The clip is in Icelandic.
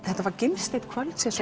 þetta var gimsteinn kvöldsins